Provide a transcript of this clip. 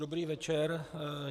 Dobrý večer.